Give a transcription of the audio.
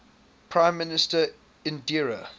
prime minister indira